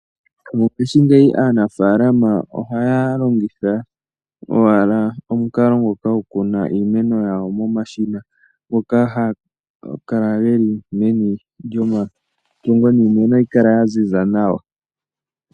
Mopaife ngeyi aanafalama ohaya longitha owala omukalo ngoka kuna iimeno yawo momashina, ngoka haga kala geli meni djoma tungo niimeno oha yi kala ya ziza nawa.